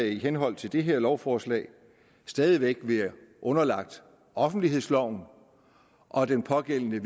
i henhold til det her lovforslag stadig væk være underlagt offentlighedsloven og det pågældende